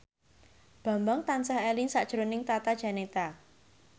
Bambang tansah eling sakjroning Tata Janeta